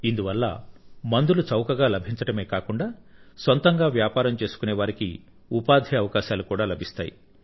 ఇందువల్ల మందులు చౌకగా లభించడమే కాకుండా సొంతంగా వ్యాపారం చేసుకొనే వారికి ఉపాధి అవకాశాలు కూడా లభిస్తాయి